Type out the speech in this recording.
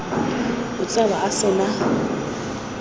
o tsewa a se na